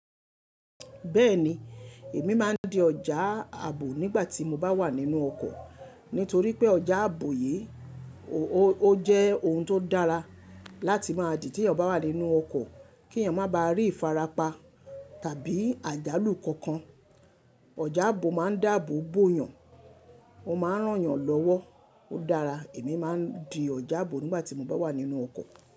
Bẹ́ẹ̀ni, èmi máa ń di ọjà ààbò nígbà tí mo bá wà nínú ọkọ̀ nítorí pé ọjà ààbò yi ò ó jẹ́ oun tó dára láti máa dì tí èèyàn bá wà nínú ọkọ̀ kí èèyàn má ba à rí ìfarapa tàbí àjálù kankan. Ọjá ààbò máa ń dáàbò bo yàn, ó máa ń rán yàn lọ́wọ́. Ó dára, èmi máa ń di ọjà ààbò nígbà tí mo bá wà nínú ọkọ̀